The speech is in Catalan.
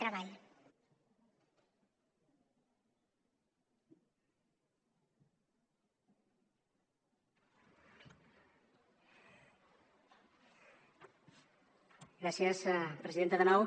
gràcies presidenta de nou